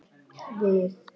Við þáðum það.